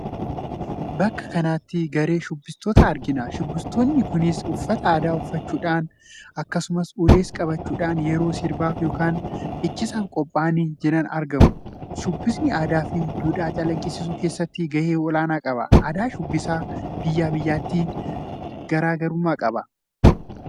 Bakka kanatti garee shubbistootaa argina. Shubbistoonni kunniinis uffata aadaa uffachuudhaam akkasums ules qabachuudhaan yeroo sirbaaf yookaam dhiichisaaf qophaa'anii jiran argamu. Shubbisni aadaa fi duudhaa calaqqisiisuu keessatti gahee olaanaa qaba. Aadaan shubbisaa biyyaa biyyatti gataa gara.